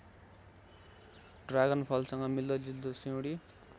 ड्रागनफलसँग मिल्दोजुल्दो सिउँडी